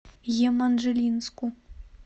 еманжелинску